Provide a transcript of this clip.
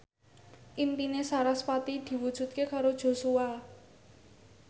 impine sarasvati diwujudke karo Joshua